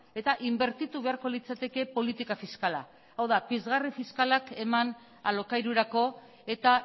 eta inbertitu beharko litzateke politika fiskala hau da pizgarri fiskalak eman alokairurako eta